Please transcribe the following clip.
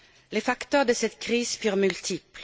Les facteurs de cette crise sont multiples.